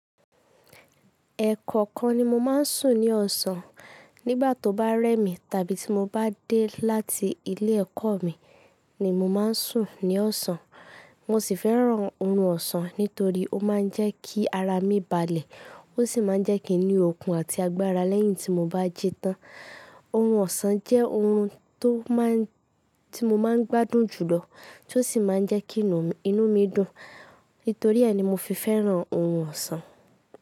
Ẹ̀kọ̀kan ni mo máa ń sùn ní ọ̀sán. Nígbà tó bá rẹ́ mi tàbí tí mo bá dé láti ilé ẹ̀kọ́ mi ni mo máa ń sùn ní ọ̀sán. Mo sì fẹ́ràn ohun ọ̀sán nítorí ó máa ń jẹ́ kí ara mi balẹ̀. Ó sì máa ń jẹ́ kí n ní okun àti agbára lẹ́yìn tí mo bá ji tán. Orun ọ̀sán jẹ́ ohun tó máa ń, tí mo máa ń gbádùn jùlọ, tó sì máa ń jẹ́ kí inú, inú mi dùn. Nítorí e nímo fi fẹ́ràn orun ọ̀sán.